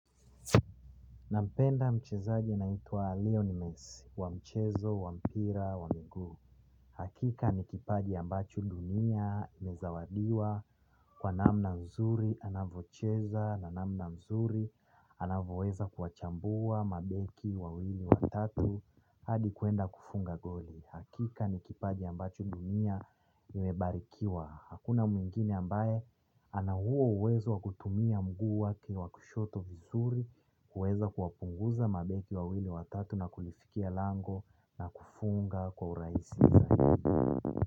Nampenda mchezaji naitwa Lionel Messi wa mchezo wa mpira wa mngu. Hakika nikipaji ambacho dunia imezawadiwa kwa namna nzuri anavocheza, na namna nzuri, anavyoweza kuwachambua mabeki wawili watatu, hadi kwenda kufunga goli. Hakika ni kipaji ambacho dunia imebarikiwa. Hakuna mwingine ambaye ana huo uwezo wa kutumia mguu wake wa kushoto vizuri kuweza kuwapunguza mabeki wawili watatu na kulifikia lango na kufunga kwa urahisi zaidi.